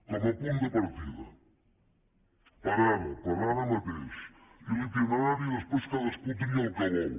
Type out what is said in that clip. com a punt de partida per ara per ara mateix i l’itinerari després cadascú tria el que vol